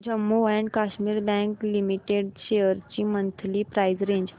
Jammu and Kashmir Bank Limited shares ची monthly price range